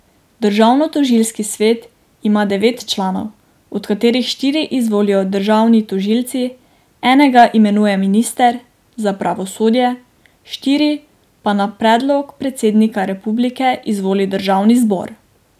Državnotožilski svet ima devet članov, od katerih štiri izvolijo državni tožilci, enega imenuje minister za pravosodje, štiri pa na predlog predsednika republike izvoli državni zbor.